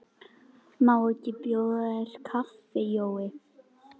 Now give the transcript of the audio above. Má ekki bjóða þér kaffi, Jói?